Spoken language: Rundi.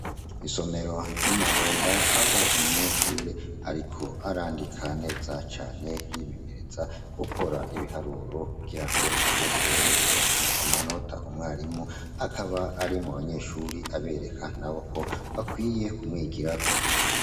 Isomero ry'i Mahonda, aho umunyeshuri ariko arandika neza cane, yimenyereza gukora ibiharuro kugira ngo azoshobore kuronka amanota, umwarimu akaba ari mu banyeshuri abereka nabo ko bakwiye kumwigirako.